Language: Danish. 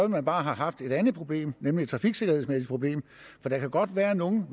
man bare have haft et andet problem nemlig et trafiksikkerhedsmæssigt problem for der kan godt være nogle